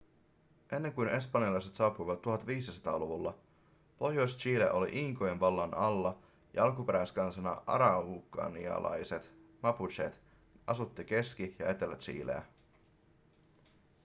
ennen kuin espanjalaiset saapuivat 1500-luvulla pohjois-chile oli inkojen vallan alla ja alkuperäiskansa araucanialaiset mapuchet asutti keski- ja etelä-chileä